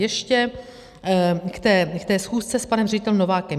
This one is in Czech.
Ještě k té schůzce s panem ředitelem Novákem.